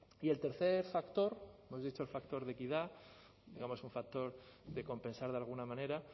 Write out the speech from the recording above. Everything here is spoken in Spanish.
y el tercer factor hemos dicho el factor de equidad digamos un factor de compensar de alguna manera